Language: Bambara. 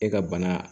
E ka bana